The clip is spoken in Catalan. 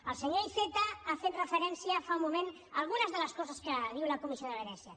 el senyor iceta ha fet referència fa un moment a algunes de les coses que diu la comissió de venècia